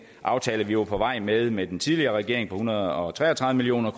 aftale vi var på vej med sammen med den tidligere regering på en hundrede og tre og tredive million